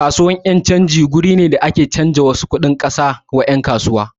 Kasuwan yan' canji wuri ne da ake canza kuɗin wasu kasashe ma yan' kasuwa.